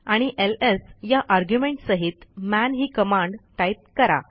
आणि एलएस या आर्ग्युमेंट सहित मन ही कमांड टाईप करा